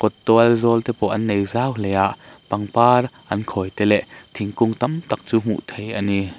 tual zawl te pawh an nei zau hle a pangpar an khawi te leh thingkung tam tak te chu hmuh theih ani.